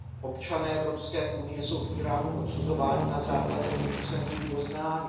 Občané Evropské unie jsou v Íránu odsuzováni na základě vynucených doznání.